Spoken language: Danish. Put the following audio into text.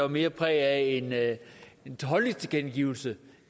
mere præget af holdningstilkendegivelser